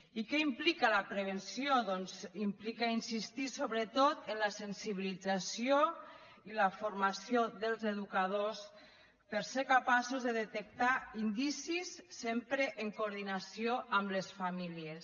i què implica la prevenció doncs implica insistir sobretot en la sensibilització i la formació dels educadors per ser capaços de detectar indicis sempre en coordinació amb les famílies